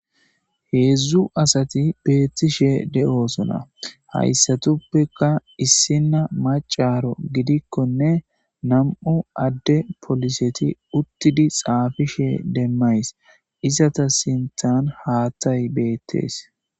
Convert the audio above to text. heedzdzu asati beettishe de7osona hayssatuppeka issina macaro gidikkonne nam7u adde poliseti uttidi xaafishe demmays izata sinthan haatay beettees